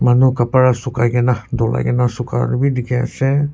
manu kapara sukai gina dulaigina suka wi dikhi asey.